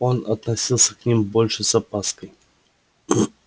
он относился к ним больше с опаской